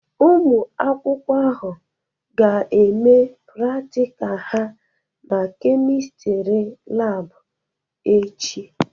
Ụmụ akwụkwọ ahụ ga-eme pratika ha na Kemistri Laabụ echi.